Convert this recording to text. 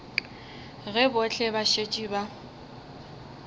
ge bohle ba šetše ba